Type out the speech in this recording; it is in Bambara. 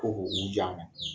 Ko ko u di a ma